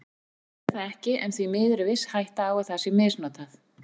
Nú skortir það ekki en því miður er viss hætta á að það sé misnotað.